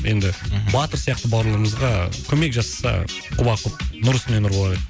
енді мхм батыр сияқты бауырларымызға көмек жасаса кұба құп нұр үстіне нұр болар еді